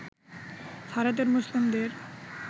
ভারতের মুসলিমদের